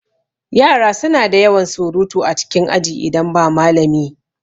Yara suna da yawan surutu a cikin aji idan ba malami